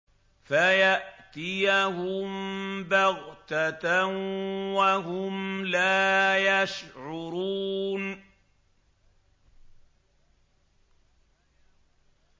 فَيَأْتِيَهُم بَغْتَةً وَهُمْ لَا يَشْعُرُونَ